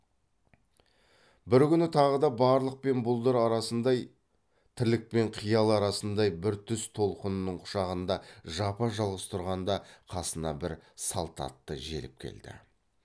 бір күні тағы да барлық пен бұлдыр арасындай тірлік пен қиял арасындай бір түс толқынының құшағында жапа жалғыз тұрғанда қасына бір салт атты желіп келді